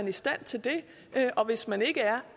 i stand til det og hvis man ikke er